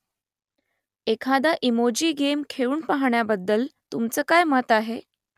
एखादा emoji game खेळून पाहण्याबद्दल तुमचं काय मत आहे ?